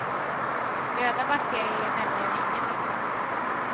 Döda bakterier gör nämligen ingen nytta.